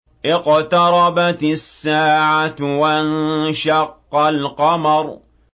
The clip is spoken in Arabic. اقْتَرَبَتِ السَّاعَةُ وَانشَقَّ الْقَمَرُ